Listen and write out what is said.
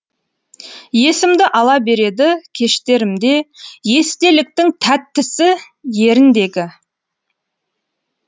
есімді ала береді кештерімде естеліктің тәттісі еріндегі